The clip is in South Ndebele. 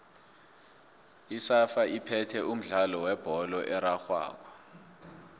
isafa iphethe umdlalo webholo erarhwako